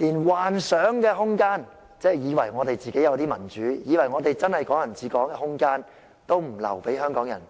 連幻想空間——以為我們有真正的民主，真的是"港人治港"——都不留給香港人。